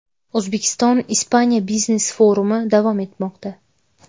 O‘zbekiston Ispaniya biznes-forumi davom etmoqda.